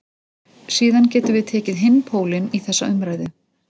Síðan getum við tekið hinn pólinn í þessa umræðu.